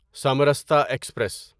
Samarsata express